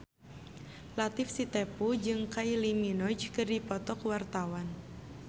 Latief Sitepu jeung Kylie Minogue keur dipoto ku wartawan